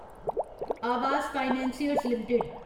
Awas financiers limited